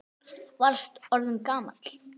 Varst orðinn svo gamall.